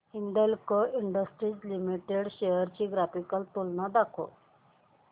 Hindalco industries limited shares ची graphical तुलना दाखव